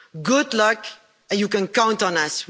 Good luck and you can count on us.